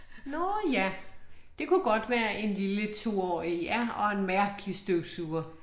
Nåh ja, det kunne godt være en lille 2-årig ja og en mærkelig støvsuger